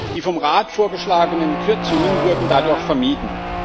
Die vom Rat vorgeschlagenen Kürzungen wurden dadurch vermieden.